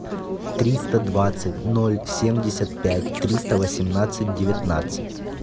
триста двадцать ноль семьдесят пять триста восемнадцать девятнадцать